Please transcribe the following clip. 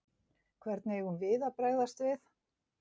Hvernig eigum við að bregðast við?